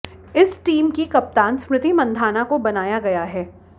इस टीम की कप्तान स्मृति मंधाना को बनाया गया है